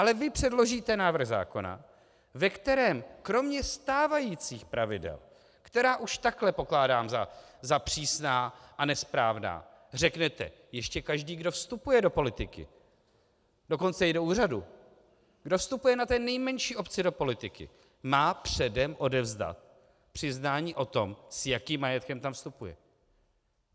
Ale vy předložíte návrh zákona, ve kterém kromě stávajících pravidel, která už takhle pokládám za přísná a nesprávná, řeknete ještě, každý, kdo vstupuje do politiky, dokonce i do úřadu, kdo vstupuje na té nejmenší obci do politiky, má předem odevzdat přiznání o tom, s jakým majetkem tam vstupuje.